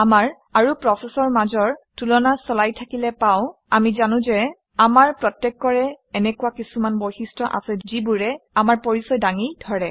আমাৰ আৰু প্ৰচেচৰ মাজৰ তুলনা চলাই থাকিলে পাওঁ আমি জানো যে আমাৰ প্ৰত্যেকৰে এনেকুৱা কিছুমান বৈশিষ্ট্য আছে যিবোৰে আমাৰ পৰিচয় দাঙি ধৰে